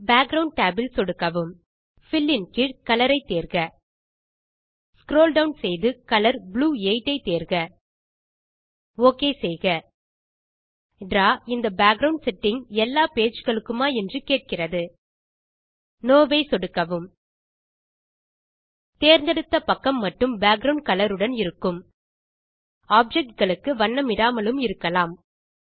background tab இல் சொடுக்கவும் fill இன் கீழ் கலர் ஐ தேர்க ஸ்க்ரோல் டவுன் செய்து கலர் ப்ளூ 8 ஐ தேர்க ஓகே செய்க டிராவ் இந்த பேக்கிரவுண்ட் செட்டிங் எல்லா பேஜ் களுக்குமா என்று கேட்கிறது நோ ஐ சொடுக்கவும் தேர்ந்தெடுத்த பக்கம் மட்டுமே பேக்கிரவுண்ட் கலர் உடன் இருக்கும் ஆப்ஜெக்ட் களுக்கு வண்ணமிடாமலும் இருக்கலாம்